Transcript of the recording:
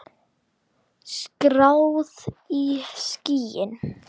Skráð í skýin.